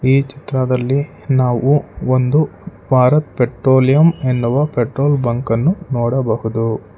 ಈ ಚಿತ್ರದಲ್ಲಿ ನಾವು ಒಂದು ಭಾರತ್ ಪೆಟ್ರೋಲಿಯಂ ಎನ್ನುವ ಪೆಟ್ರೋಲ್ ಬಂಕನ್ನು ನೋಡಬಹುದು.